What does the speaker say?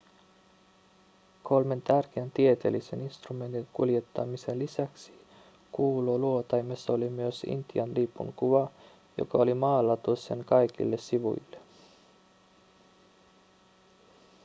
kolmen tärkeän tieteellisen instrumentin kuljettamisen lisäksi kuuluotaimessa oli myös intian lipun kuva joka oli maalattu sen kaikille sivuille